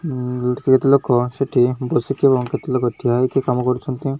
କିଛି ଲୋକ ସେଠି ବସିକି ଏବଂ କିଛି ଲୋକ ଠିଆ ହେଇକି କାମ କରୁଛନ୍ତି।